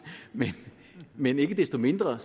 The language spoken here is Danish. men ikke desto mindre